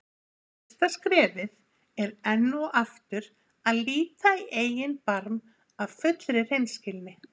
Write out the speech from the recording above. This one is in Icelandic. Fyrsta skrefið er enn og aftur að líta í eigin barm af fullri hreinskilni.